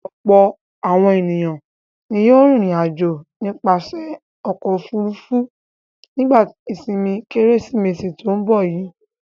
Ọ̀pọ̀ àwọn ènìyàn ni yóò rìnrìn-àjò nípasẹ̀ ọkọ̀-òfurufú nígbà ìsìnmi kKérésìmesì tó ń bọ̀ yìí.